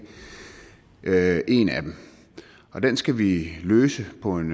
her er en af dem og den skal vi løse på en